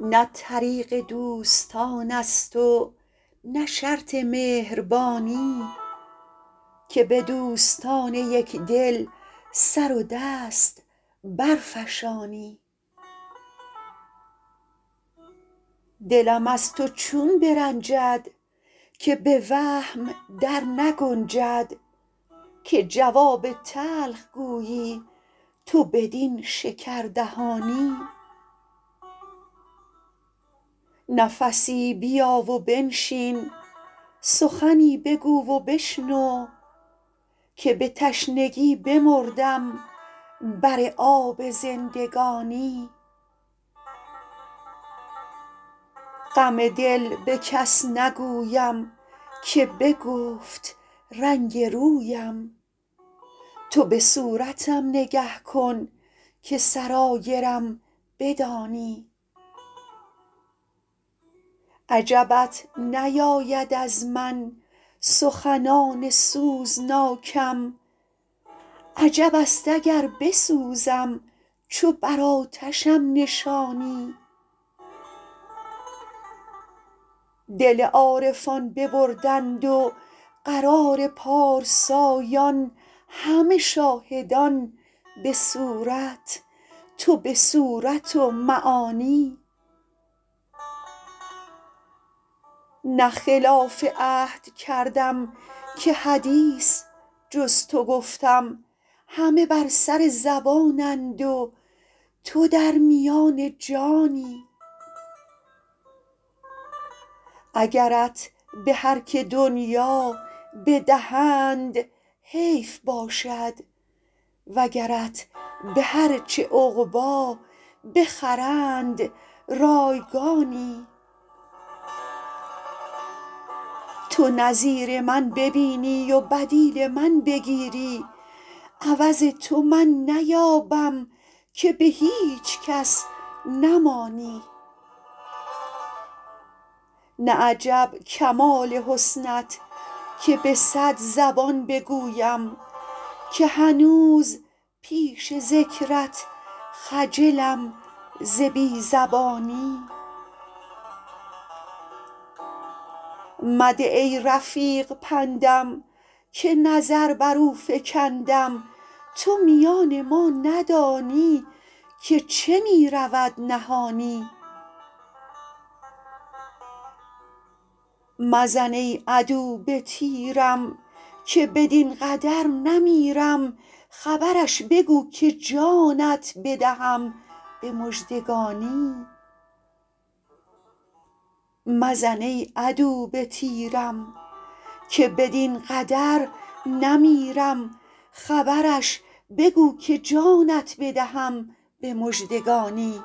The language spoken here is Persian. نه طریق دوستان است و نه شرط مهربانی که به دوستان یک دل سر دست برفشانی دلم از تو چون برنجد که به وهم در نگنجد که جواب تلخ گویی تو بدین شکردهانی نفسی بیا و بنشین سخنی بگو و بشنو که به تشنگی بمردم بر آب زندگانی غم دل به کس نگویم که بگفت رنگ رویم تو به صورتم نگه کن که سرایرم بدانی عجبت نیاید از من سخنان سوزناکم عجب است اگر بسوزم چو بر آتشم نشانی دل عارفان ببردند و قرار پارسایان همه شاهدان به صورت تو به صورت و معانی نه خلاف عهد کردم که حدیث جز تو گفتم همه بر سر زبانند و تو در میان جانی اگرت به هر که دنیا بدهند حیف باشد وگرت به هر چه عقبی بخرند رایگانی تو نظیر من ببینی و بدیل من بگیری عوض تو من نیابم که به هیچ کس نمانی نه عجب کمال حسنت که به صد زبان بگویم که هنوز پیش ذکرت خجلم ز بی زبانی مده ای رفیق پندم که نظر بر او فکندم تو میان ما ندانی که چه می رود نهانی مزن ای عدو به تیرم که بدین قدر نمیرم خبرش بگو که جانت بدهم به مژدگانی